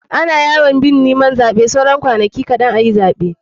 Ana yakin neman zaɓe saura kwanaki kaɗn a fara zaɓe.